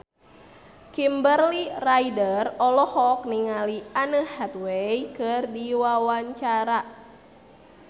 Kimberly Ryder olohok ningali Anne Hathaway keur diwawancara